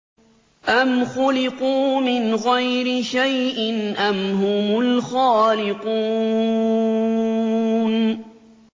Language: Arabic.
أَمْ خُلِقُوا مِنْ غَيْرِ شَيْءٍ أَمْ هُمُ الْخَالِقُونَ